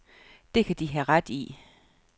Det kan de have ret i.